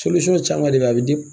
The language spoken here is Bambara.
caman de be a bi di